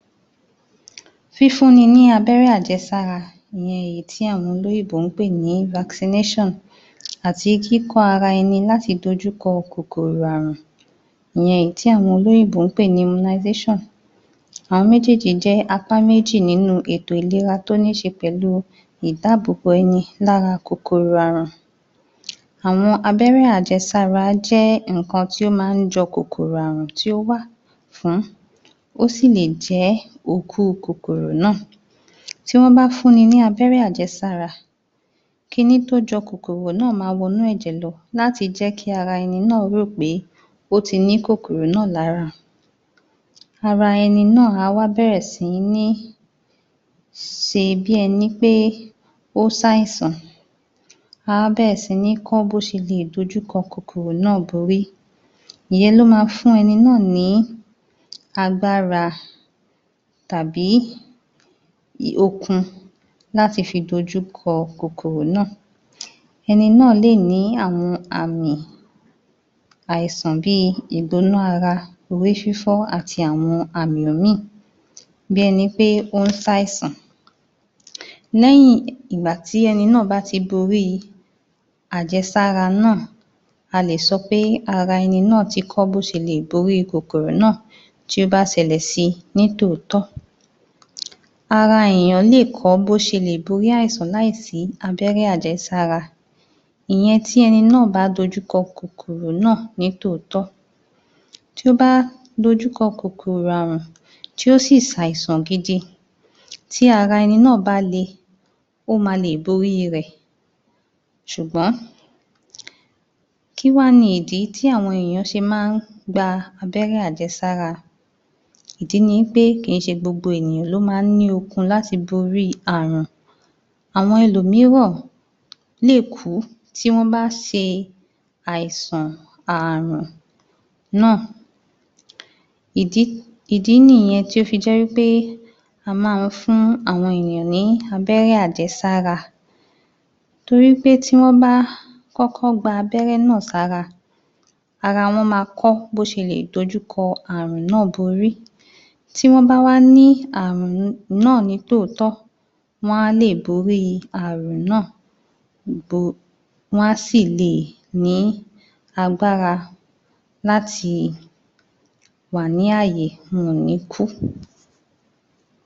Fífún ni ní abẹ́rẹ́ àjẹsára, ìyẹn èyí tí àwọn olóyìnbó ń pè ní fasinéṣàn àti kíkọ́ ara ẹni láti dojúkọ kòkòrò ààrùn ìyẹn èyí tí àwọn olóyìnbó ń pè ní imunaiséṣàn, àwọn méjèèjì jẹ́ apá méjì nínú ètò ìlera tó nííṣe pẹ̀lú ìdáàbò bo ẹni lára kòkòrò ààrùn Àwọn abẹ́rẹ́ àjẹsára jẹ́ nǹkan tí ó máa ń jọ kòkòrò ààrùn tí ó wà fún, ó sì lè jẹ́ òkú kòkòrò náà. Tí wọ́n bá fún ni ní lábẹ́rẹ́ àjẹsára ki ní tó jọ kòkòrò náà máa wọnú ẹ̀jẹ̀ lọ láti jẹ kí ara ẹni náà ó rò pé ó ti ní kòkòrò náà lára. Ara ẹni náà á wá bẹ̀rẹ̀ sí ní ṣe bí ẹni pé ó ń ṣàìsàn, a wá bẹ̀rẹ̀ sí ní kọ́ bó ṣe lè dojúkọ kòkòrò náà borí, ìyẹn ló máa fún ẹni náà ní agbára tàbí okun láti fi dojú kọ kòkòrò náà. Eni náà lè ní àwọn àmì àìsàn bíi egbò-onú ara, orí fífọ́, àti àwọn àmì míì bí ẹni pé ó ń ṣàìsàn. Lẹ́yìn ìgbà tí ẹni náà bá ti boríi àjẹsára náà a lè sọ pé ara ẹni náà ti kọ́ bó ṣe leè borí kòkòrò náà tí ó bá ṣẹlẹ̀ síi ní tòótọ́. Ara èèyàn lè kọ́ bo ṣe lè borí àìsàn láìsí abẹ́rẹ́ àjẹsára ìyẹn tí ẹni náà bá dojú kọ kòkòrò náà ni tòótọ́. Tí ó bá dojúkọ kòkòrò ààrùn tí ó sì ṣàìsàn gidi tí ara ẹni náà bá lè, ó máa lè borí rẹ̀ ṣùgbọ́n kí wá ni ìdí tí àwọn èèyàn ṣe máa ń abẹ́rẹ́ àjẹsára, ìdí ni wí pé kì í ṣe gbogbo èèyàn ló máa ń ní okun láti borí ààrùn. Àwọn ẹlòmíràn lè kú tí wọ́n bá ṣe àìsàn, ààrùn náà, [um]ìdí nìyẹn tí ó fi jẹ́ wí pé a máa ń fún àwọn ènìyàn ní abẹ́rẹ́ àjẹsára torí pé tí wọ́n bá kọ́kọ́ gbabẹ́rẹ́ náà sára ara wọ́n máa kọ́ bó ṣe leè dojú kọ ààrùn náà borí, tí wọ́n bá wá ní ààrùn um náà ní tòótọ́, wọ́n á lè borí ààrùn náà um wọ́n á sì leè um ní agbára láti wà ní ààyè wọn ò ní kú.